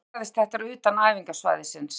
Því miður gerðist þetta utan æfingasvæðisins.